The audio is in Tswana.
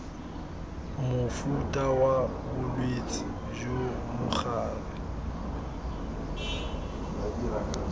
mofuta wa bolwetse jo mogare